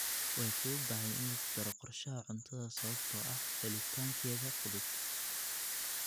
Way fududahay in lagu daro qorshaha cuntada sababtoo ah helitaankeeda fudud.